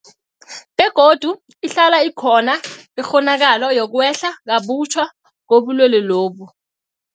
Begodu ihlala ikhona ikghonakalo yokwehla kabutjha kobulwelobu.